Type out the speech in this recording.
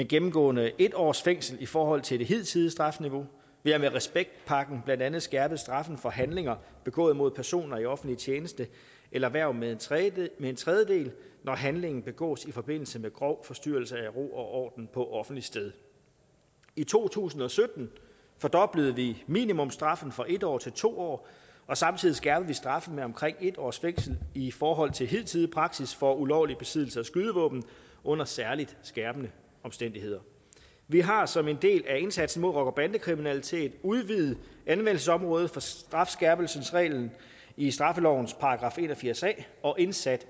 gennemgående en års fængsel i forhold til det hidtidige strafniveau vi har med respektpakken blandt andet skærpet straffen for handlinger begået mod personer i offentlig tjeneste eller hverv med en tredjedel en tredjedel når handlingen begås i forbindelse med grov forstyrrelse af ro og orden på offentligt sted i to tusind og sytten fordoblede vi minimumsstraffen fra en år til to år og samtidig skærpede vi straffen med omkring et års fængsel i forhold til hidtidig praksis for ulovlig besiddelse af skydevåben under særlig skærpende omstændigheder vi har som en del af indsatsen mod rocker og bandekriminalitet udvidet anvendelsesområdet for strafskærpelsesreglen i straffelovens § en og firs a og indsat